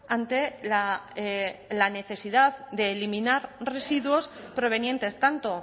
ante la necesidad de eliminar residuos provenientes tanto